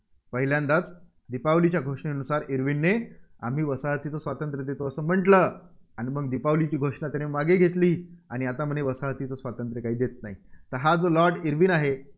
पहिल्यांदाच दीपावलीच्या घोषणेनुसार इर्विनने आम्ही वसाहतीचे स्वातंत्र्य देतो असं म्हटलं. आणि मग दीपावलीची घोषणा त्याने मागे घेतली, आणि आता म्हणे वसाहतीचे स्वातंत्र्य काही देत नाही. हा जो लॉर्ड इर्विन आहे,